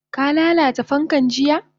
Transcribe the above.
Ka lalata fankan jiya?